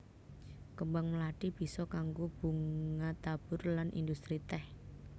Kembang mlathi bisa kanggo bunga tabur lan industri tèh